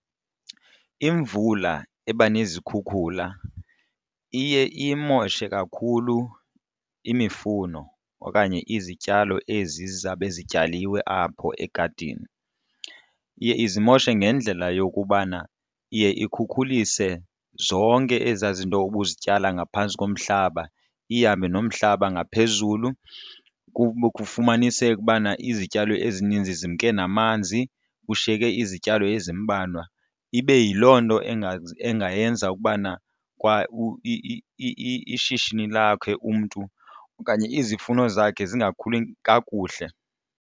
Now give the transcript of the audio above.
Imvula eba nezikhukhula iye iyimoshe kakhulu imifuno okanye izityalo ezi zizawube zityaliweyo apho egadini. Iye izimoshe ngendlela yokubana iye ikhukhulise zonke ezaa zinto ubuzityala ngaphantsi komhlaba ihambe nomhlaba ngaphezulu, kufumaniseke ubana izityalo ezininzi zimke namanzi kushiyeke izityalo ezimbalwa. Ibe yiloo nto engayenza ukubana kwa ishishini lakhe umntu okanye izifuno zakhe zingakhuli kakuhle.